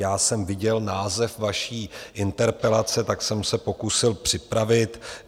Já jsem viděl název vaší interpelace, tak jsem se pokusil připravit.